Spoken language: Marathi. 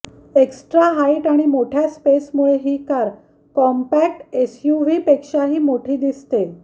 एक्स्ट्रा हाईट आणि मोठ्या स्पेसमुळे ही कार कार कॉम्पॅक्ट एसयूव्हीपेक्षाही मोठी दिसते